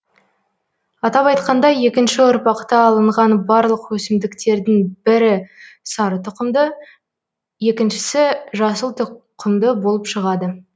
атап айтқанда екінші ұрпақта алынған барлық өсімдіктердің бірі сары тұқымды екіншісі жасыл тұқымды болып шығады